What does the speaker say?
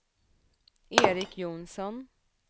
Eric Jonsson